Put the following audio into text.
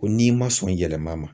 Ko n'i ma sɔn yɛlɛma ma.